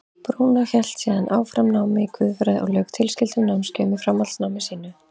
Brúnó hélt síðan áfram námi í guðfræði og lauk tilskildum námskeiðum í framhaldsnámi sínu.